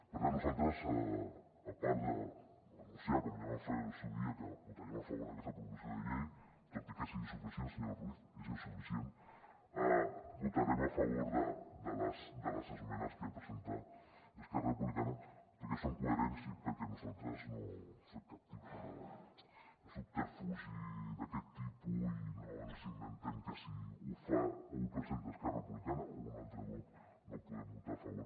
per tant nosaltres a part d’anunciar com ja vam fer en el seu dia que votaríem a favor d’aquesta proposició de llei tot i que és insuficient senyor ruiz és insuficient votarem a favor de les esmenes que presenta esquerra republicana perquè són coherents i perquè nosaltres no fem cap tipus de subterfugi i no ens inventem que si ho fa o ho presenta esquerra republicana o un altre grup no ho podem votar a favor